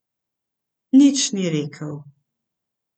Nič ni rekel.